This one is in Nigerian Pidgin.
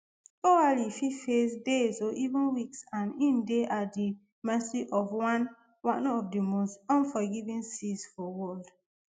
oualy fit face days or even weeks and im dey at di mercy of one one of di most unforgiving seas for world